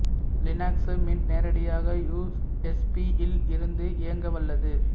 Linux Mint நேரடியாக USB இல் இருந்து இயங்க வல்லது